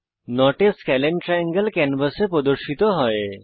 not a scalene triangle ক্যানভাসে প্রদর্শিত হয়